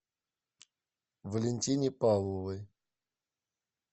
валентине павловой